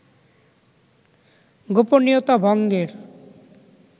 গোপনীয়তা ভঙ্গের